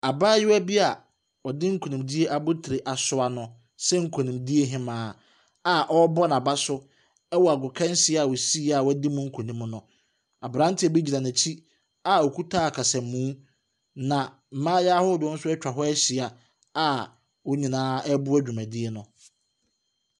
Abaayewa bi a wɔde nkunimdi abotire asoa no sɛ nkunimdiehemaa aɔrebɔ n'abaso ɛwɔ agokansi a osiiɛ a wɔadi mu nkunim no. Abranteɛ bigyina n'akyi a okita akasamu. Na mmayewa ahodoɔ nso atwa hɔ ahyia a wɔn nyinaa reboa dwumadie no.